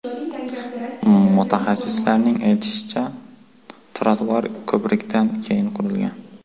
Mutaxassislarning aytishicha, ‘trotuar’ ko‘prikdan keyin qurilgan.